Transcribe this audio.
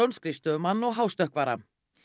skrifstofumann og hástökkvara